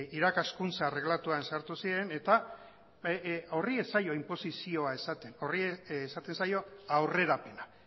irakaskuntza erregelatuan sartu ziren eta horri ez zaio inposizio esaten horri esaten zaio aurrerapena